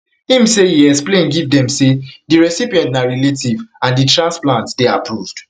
im say e explain give dem say di recipient na relative and di transplant dey approved